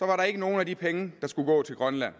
var der ikke nogen af de penge der skulle gå til grønland